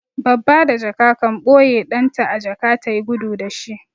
Babba da jaka kan ɓoye ɗan ta a jaka ta yi gudu da shi.